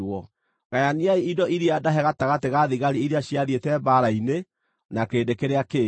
Gayaniai indo cia iria ndahe gatagatĩ ga thigari iria ciathiĩte mbaara-inĩ na kĩrĩndĩ kĩrĩa kĩngĩ.